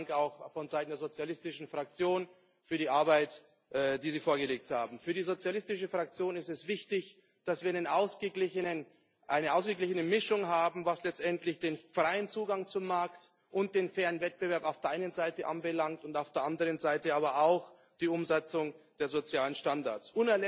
Herzlichen Dank auch vonseiten der Sozialdemokratischen Fraktion für die Arbeit, die Sie vorgelegt haben. Für die Sozialidemokratische Fraktion ist es wichtig, dass wir eine ausgeglichene Mischung haben, was letztendlich den freien Zugang zum Markt und den fairen Wettbewerb auf der einen Seite anbelangt, auf der anderen Seite aber auch die Umsetzung der sozialen Standards.